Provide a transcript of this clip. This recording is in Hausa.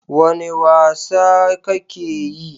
Wane wasa kake yi?